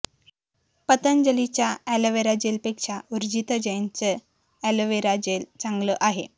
पतंजलीच्या aloe vera जेलपेक्षा उर्जिता जैनचं aloe vera gel चांगलं आहे